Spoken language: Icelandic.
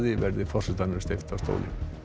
verði forsetanum steypt af stóli